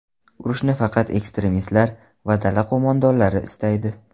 Urushni faqat ekstremistlar va dala qo‘mondonlari istaydi.